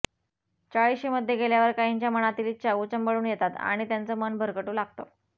चाळीशीमध्ये गेल्यावर काहींच्या मनातील इच्छा उचंबळून येतात आणि त्यांचं मन भरकटू लागतं